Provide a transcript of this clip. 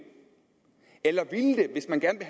hvis man gerne